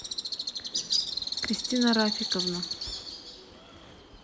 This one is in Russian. кристина рафиковна